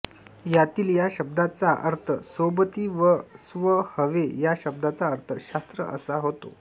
यातील या शब्दाचा अर्थसोबती व स्वहवे या शब्दाचा अर्थ शास्त्र असा होता